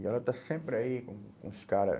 E ela está sempre aí com o com os cara.